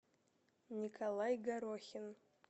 николай горохин